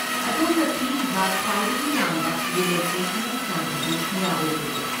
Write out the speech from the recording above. ꯑꯗꯣꯝꯅ ꯄꯤꯔꯤꯕ ꯈ꯭ꯋꯥꯏꯗꯒꯤ ꯌꯥꯝꯕ ꯔꯤꯂꯦꯛꯁꯦꯁꯟꯒꯤ ꯆꯥꯡ ꯑꯗꯨ ꯀꯌꯥ ꯑꯣꯏꯕꯒꯦ?